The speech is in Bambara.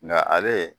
Nka ale